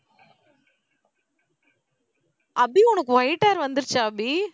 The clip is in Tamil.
அபி உனக்கு white hair வந்துருச்சா அபி